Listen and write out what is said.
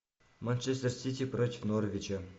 манчестер сити против норвича